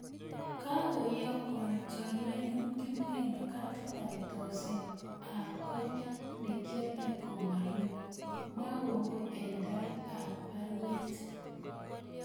Kakoyokwon chorwenyun Kipngeno kadit ab tokset ab kot negoale komalo , mwa kongoi en tait ab baruet